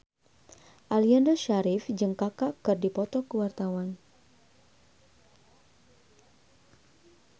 Aliando Syarif jeung Kaka keur dipoto ku wartawan